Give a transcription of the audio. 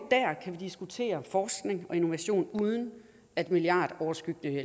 diskutere forskning og innovation uden at milliardnedskæringer